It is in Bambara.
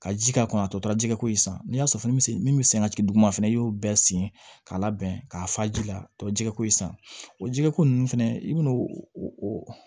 Ka ji k'a kɔnɔ a tɔ tora jɛgɛko in san n'i y'a sɔrɔ fɛn bɛ se min bɛ sen ka jigin duguma fana i y'o bɛɛ sen k'a labɛn k'a fa ji la tɔ jɛgɛko in san o jɛgɛko nun fɛnɛ i bɛna o o